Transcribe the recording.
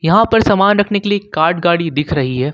यहां पर सामान रखने के लिए कार्ड गाड़ी दिख रही है।